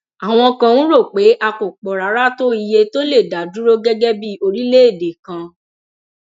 àwọn kan ń rò pé a kò pọ rárá tó iye tó lè dá dúró gẹgẹ bíi orílẹèdè kan